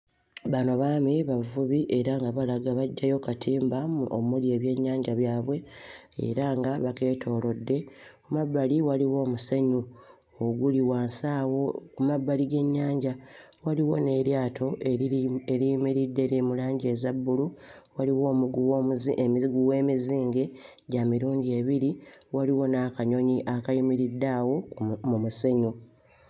Bano baami bavubi era nga balaga baggyayo katimba omuli ebyennyanja byabwe era nga bakeetoolodde. Ku mabbali waliwo omusenyu oguli wansi awo ku mabbali g'ennyanja, waliwo n'eryato eriri eriyimiridde eriri mu langi eza bbulu, waliwo omuguwa omuzi emiguwe emizinge gya mirundi ebiri, waliwo n'akanyonyi akayimiridde awo mu musenyu.